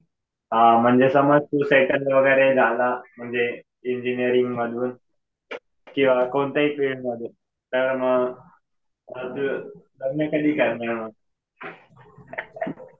हा. समज तू सेटल वगैरे झाला म्हणजे इंजिनीअरिंग मधून किंवा कोणत्याही फिल्ड मधून तर तू लग्न कधी करणार?